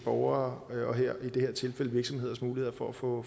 og i det her tilfælde virksomheders mulighed for at få